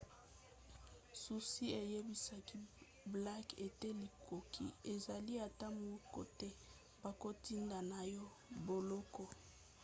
zuzi ayebisaki blake ete likoki ezali ata moke te bakotinda ye na boloko